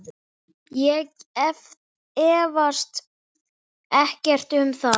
Ég efast ekkert um það.